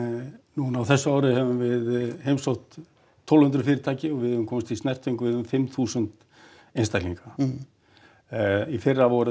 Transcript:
núna á þessu ári höfum við heimsótt tólf hundruð fyrirtæki og við höfum komist í snertingu við um fimm þúsund einstaklinga í fyrra voru